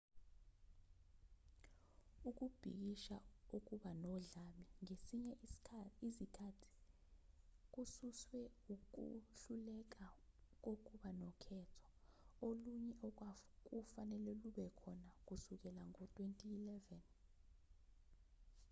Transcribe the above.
ukubhikisha okuba nodlame ngezinye izikhathi kususwe ukuhluleka kokuba nokhetho olunye okwakufanele lube khona kusukela ngo-2011